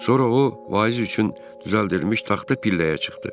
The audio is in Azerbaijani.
Sonra o vaiz üçün düzəldirilmiş taxta pilləyə çıxdı.